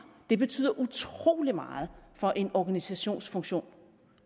det betyder utrolig meget for en organisations funktion